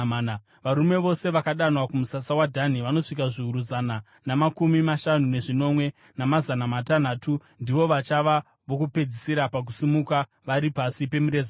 Varume vose vakadanwa kumusasa waDhani vanosvika zviuru zana namakumi mashanu nezvinomwe, namazana matanhatu. Ndivo vachava vokupedzisira pakusimuka, vari pasi pemireza yavo.